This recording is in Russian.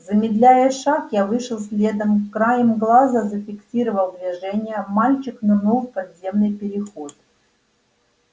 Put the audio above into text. замедляя шаг я вышел следом краем глаза зафиксировал движение мальчик нырнул в подземный переход